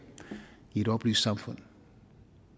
i et oplyst samfund